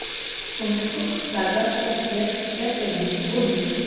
сумерки сага рассвет часть один вруби